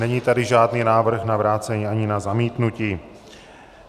Není tady žádný návrh na vrácení ani na zamítnutí.